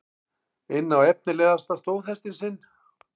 inn á efnilegasta stóðhestinn sinn.